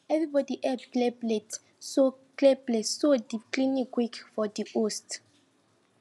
everybody help clear plates so clear plates so di cleaning quick for di host